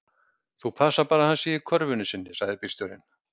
Þú passar bara að hann sé í körfunni sinni, sagði bílstjórinn.